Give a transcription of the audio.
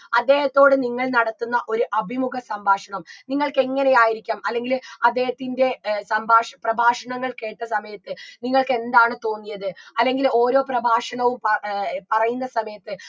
അദ്ദേഹത്തോട് നിങ്ങൾ നടത്തുന്ന ഒരു അഭിമുഖ സംഭാഷണം നിങ്ങൾക്ക് എങ്ങനെയായിരിക്കാം അല്ലെങ്കിൽ അദ്ദേഹത്തിൻറെ ഏർ സംഭാഷ പ്രഭാഷണങ്ങൾ കേട്ട സമയത്ത് നിങ്ങക്കെന്താണ് തോന്നിയത് അല്ലെങ്കിൽ ഓരോ പ്രഭാഷണവും പ ഏർ പറയുന്ന സമയത്ത്